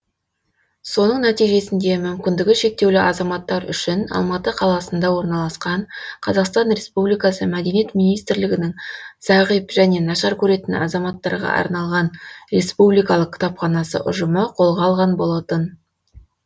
соның нәтижесінде мүмкіндігі шектеулі азаматтар үшін алматы қаласында орналасан қазақстан республикасы мәдениет министрлігінің зағип және нашар көретін азаматтарға арналған республикалық кітапханасы ұжымы қолға алған болатын